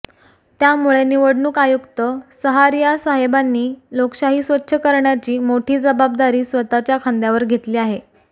त्यामुळे निवडणूक आयुक्त सहारियासाहेबांनी लोकशाही स्वच्छ करण्याची मोठी जबाबदारी स्वतःच्या खांद्यावर घेतली आहे